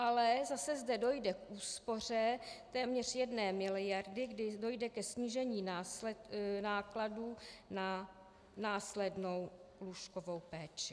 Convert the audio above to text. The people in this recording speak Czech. Ale zase zde dojde k úspoře téměř jedné miliardy, kdy dojde ke snížení nákladů na následnou lůžkovou péči.